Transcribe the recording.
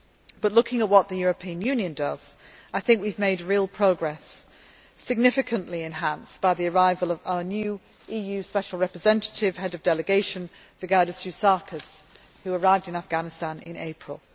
But looking at what the European Union does, I think we have made real progress, significantly enhanced by the arrival of our new EU Special Representative Head of Delegation Vygaudas Ušackas, who arrived in Afghanistan in April.